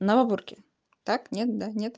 на обурке так нет да нет